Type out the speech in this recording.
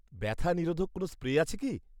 ব্যথা নিরোধক কোনও স্প্রে আছে কি?